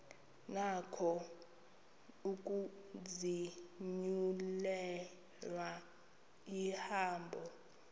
nako ukuzinyulela ihambo